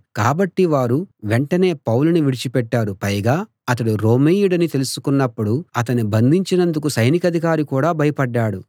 కాబట్టి వారు వెంటనే పౌలుని విడిచిపెట్టారు పైగా అతడు రోమీయుడని తెలుసుకున్నప్పుడు అతణ్ణి బంధించినందుకు సైనికాధికారి కూడా భయపడ్డాడు